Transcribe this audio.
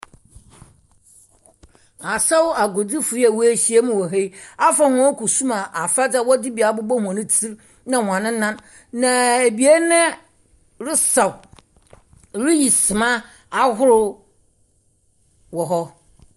Asaw agodzifo yi a wehyiam wɔ ha yi, afa wɔn kusum afadze. Wɔdze bi abobɔ wɔn tsir na wɔn nan. Na ebien resaw wiisima ahorow wɔ hɔ.